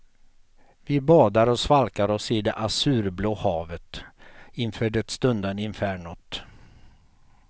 Vi badar och svalkar oss i det azurblå havet inför det stundade infernot.